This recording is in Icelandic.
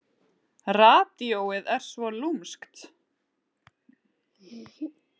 Radíóið er svo lúmskt.